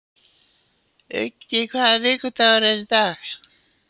Uggi, hvaða vikudagur er í dag?